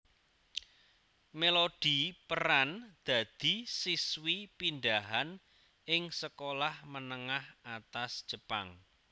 Melody peran dadi siswi pindahan ing sekolah menengah atas Jepang